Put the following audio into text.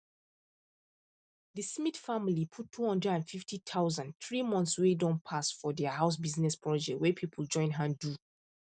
the smith family put two hundred and fifty thousand three months wey don pass for their house business project wey people join hand do